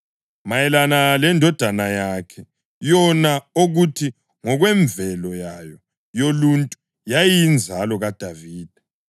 mayelana leNdodana yakhe, yona okuthi ngokwemvelo yayo yoluntu yayiyinzalo kaDavida,